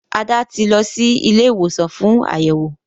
Ada tí lọ sì Ilé ìwòsàn fún Àyẹwò.